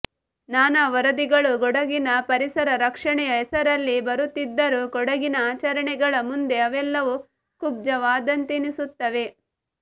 ನಾನಾ ವರದಿ ಗಳು ಕೊಡಗಿನ ಪರಿಸರ ರಕ್ಷಣೆಯ ಹೆಸರಲ್ಲಿ ಬರುತ್ತಿದ್ದರೂ ಕೊಡಗಿನ ಆಚರಣೆಗಳ ಮುಂದೆ ಅವೆಲ್ಲವೂ ಕುಬ್ಜ ವಾದಂತೆನಿಸುತ್ತವೆ